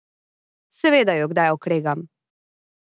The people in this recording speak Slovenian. Seveda ju kdaj okregam.